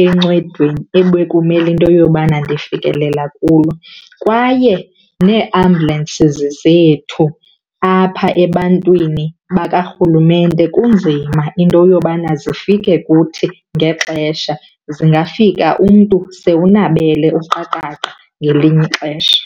encedweni ebekumele into yobana ndifikelela kulo. Kwaye nee-ambulances zethu apha ebantwini bakarhulumente kunzima into yobana zifike kuthi ngexesha. Zingafika umntu sewunabele uqaqaqa ngelinye ixesha.